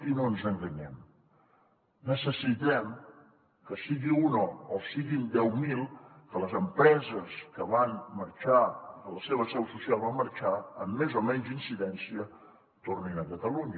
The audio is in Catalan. i no ens enganyem necessitem que en sigui una o en siguin deu mil les empreses que van marxar que la seva seu social va marxar amb més o menys incidència tornin a catalunya